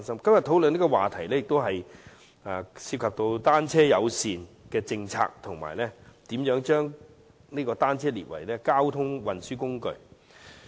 今天討論的議案涉及單車友善政策及如何將單車定為交通運輸工具。